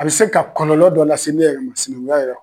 A bɛ se ka kɔlɔlɔ dɔ lase ne yɛrɛ ma sinankunya yɛrɛ